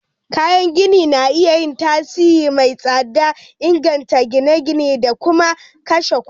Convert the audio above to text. Kayan gini na iya yin tasiri mai tsada, inganta ginin gini da kuma kashe kuɗi.